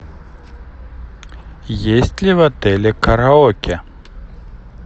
есть ли в отеле караоке